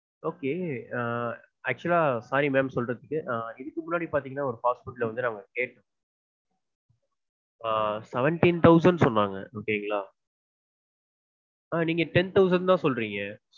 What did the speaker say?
okay actually sorry ma'am. நா இதுக்கு முன்னாடி பாத்தீங்கனா ஒரு fast food வந்து நாங்க கேட்டோம். ஆஹ் seventeen thousand சொன்னாங்க okay ங்களா? நீங்க ten thousand தா சொல்றீங்க.